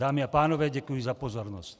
Dámy a pánové, děkuji za pozornost.